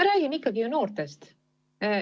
Me räägime ikkagi ju noortest.